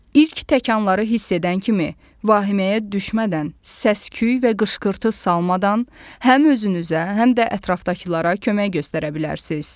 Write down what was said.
İlk təkanları hiss edən kimi, vahiməyə düşmədən, səs-küy və qışqırtı salmadan, həm özünüzə, həm də ətrafdakılara kömək göstərə bilərsiniz.